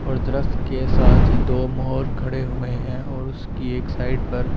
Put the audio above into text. और द्रव्त के साथ ही दो मोहर खड़े हुए है और उसकी एक साइड पर --